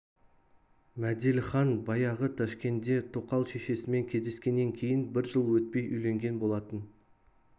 мәделіхан баяғы ташкенде тоқал шешесімен кездескеннен кейін бір жыл өтпей үйленген болатын